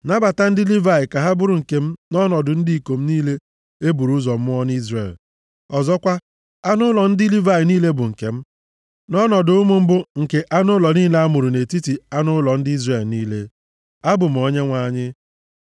Nabata ndị Livayị ka ha bụrụ nke m nʼọnọdụ ndị ikom niile e bụrụ ụzọ mụọ nʼIzrel. Ọzọkwa, anụ ụlọ ndị Livayị niile bụ nke m, nʼọnọdụ ụmụ mbụ nke anụ ụlọ niile a mụrụ nʼetiti anụ ụlọ ndị Izrel niile. Abụ m Onyenwe anyị.”